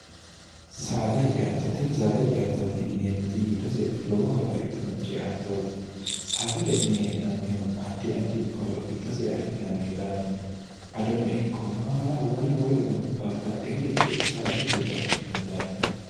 saadahe ceattootinni saadahe ceyattooti yineemmoti giddose lowo horo afidhino ceattooti saada ce'ne hee'nannihu addi addi horo giddose afi'nannihuraati adono ikko maala wola woloreno babbaxxi horicho saadate giddo afi'nanni daafiraati